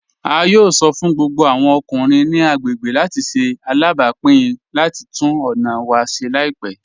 A yóò sọ́ fún gbogbo awọn ọkùnrin ni agbegbé láti ṣè alábápìn láti túnn ọna wa ṣè laipẹ.